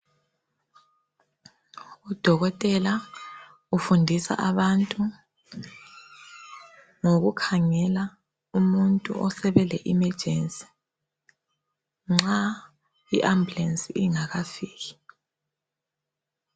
Udokotela ufundisa abantu ngokukhangela umuntu osebele emergency nxa i-ambulance ingakafiki.